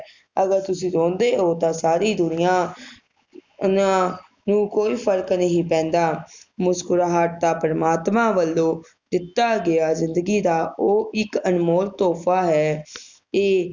ਅਗਰ ਤੁਸੀਂ ਰੋਂਦੇ ਓ ਤਾ ਸਾਰੀ ਦੁਨੀਆਂ ਨਾ ਨੂੰ ਕੋਈ ਫਰਕ ਨਹੀਂ ਪੈਂਦਾ ਮੁਸਕੁਰਾਹਟ ਤਾ ਪ੍ਰਮਾਤਮਾ ਵਲੋਂ ਦਿਤਾ ਗਿਆ ਜਿੰਦਗੀ ਦਾ ਉਹ ਇਕ ਅਨਮੋਲ ਤੋਹਫ਼ਾ ਹੈ ਇਹ